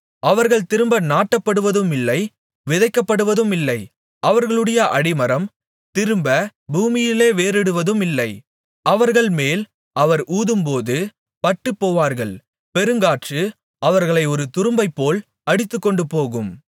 அவர்கள் திரும்ப நாட்டப்படுவதுமில்லை விதைக்கப்படுவதுமில்லை அவர்களுடைய அடிமரம் திரும்ப பூமியிலே வேர்விடுவதுமில்லை அவர்கள்மேல் அவர் ஊதும்போது பட்டுப்போவார்கள் பெருங்காற்று அவர்களை ஒரு துரும்பைப்போல் அடித்துக்கொண்டுபோகும்